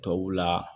Tubabu la